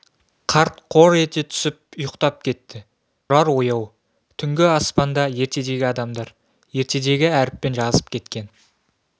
қарт қор ете түсіп ұйықтап кетті тұрар ояу түнгі аспанда ертедегі адамдар ертедегі әріппен жазып кеткен